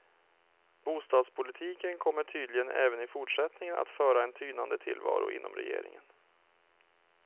Bostadspolitiken kommer tydligen även i fortsättningen att föra en tynande tillvaro inom regeringen.